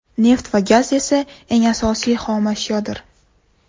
Neft va gaz esa eng asosiy xomashyodir.